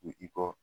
U i kɔ